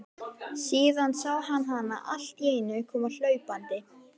Síðan sá hann hana alltíeinu koma hlaupandi.